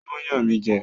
Ó ń yàn mí jẹ